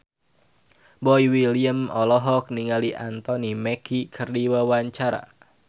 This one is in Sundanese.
Boy William olohok ningali Anthony Mackie keur diwawancara